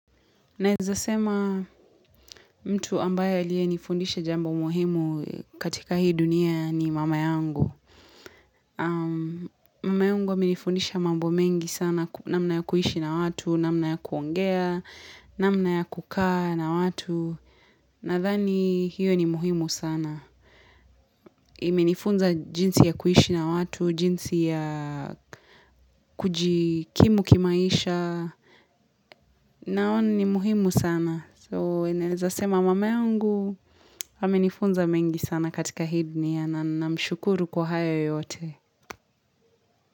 Naeza sema mtu ambaye aliyenifundisha jambo muhimu katika hii dunia ni mama yangu. Mama yangu amenifundisha mambo mengi sana namna ya kuishi na watu, namna ya kuongea, namna ya kukaa na watu. Nathani hiyo ni muhimu sana. Imenifunza jinsi ya kuishi na watu, jinsi ya kujikimu kimaisha. Naona ni muhimu sana. So eneza sema mamangu amenifunza mengi sana katika hii dunia na namshukuru kwa hayo yote.